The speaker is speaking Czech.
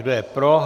Kdo je pro?